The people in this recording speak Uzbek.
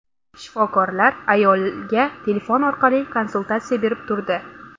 Shifokorlar ayolga telefon orqali konsultatsiya berib turdi.